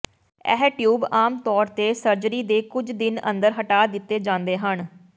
ਇਹ ਟਿਊਬ ਆਮ ਤੌਰ ਤੇ ਸਰਜਰੀ ਦੇ ਕੁਝ ਦਿਨ ਅੰਦਰ ਹਟਾ ਦਿੱਤੇ ਜਾਂਦੇ ਹਨ